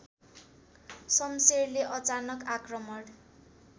सम्शेरले अचानक आक्रमण